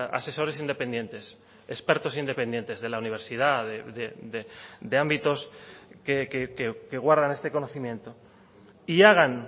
asesores independientes expertos independientes de la universidad de ámbitos que guardan este conocimiento y hagan